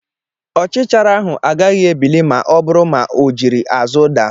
Ọchichara ahụ agaghị ebili ma ọ bụrụ ma o jiri azụ daa.